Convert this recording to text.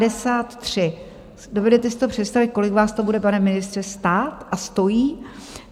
Dovedete si to představit, kolik vás to bude, pane ministře, stát a stojí?